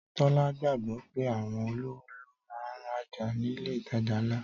Tọ́lá gbàgbọ́ pé àwọn olówó ló máa ń rajà nílé ìtajà ńlá